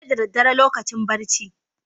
Sai da daddare lokacin barci.